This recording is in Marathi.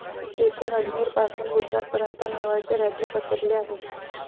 येथून अजमेरपासून गुजरात पर्यंत मेवाडचे राज्य पसरले आहे.